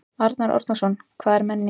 Arnar Árnason: Hvað er menning?